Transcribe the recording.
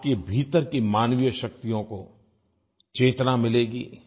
आपके भीतर की मानवीय शक्तियों को चेतना मिलेगी